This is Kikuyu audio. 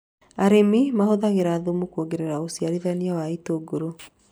Arĩmi mahũthagĩra thumu kuongerera ũciarithania wa itũngũrũ